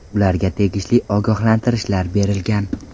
Ularga tegishli ogohlantirishlar berilgan.